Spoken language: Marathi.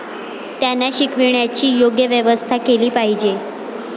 त्यांना शिकविण्याची योग्य व्यवस्था केली पाहिजे.